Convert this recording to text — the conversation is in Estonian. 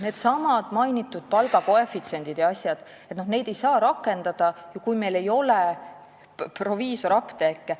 Neidsamu mainitud palgakoefitsiente jms ei saa rakendada, kui meil ei ole proviisorapteeke.